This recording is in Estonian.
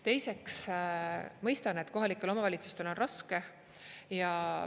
Teiseks, ma mõistan, et kohalikel omavalitsustel on raske.